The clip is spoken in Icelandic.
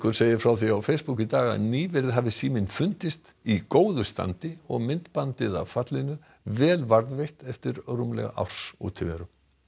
segir frá því á Facebook í dag að nýverið hafi síminn fundist í góðu standi og myndbandið af fallinu vel varðveitt eftir rúmlega árs útiveru